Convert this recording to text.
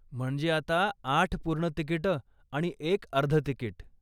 म्हणजे आता आठ पूर्ण तिकिटं आणि एक अर्ध तिकीट.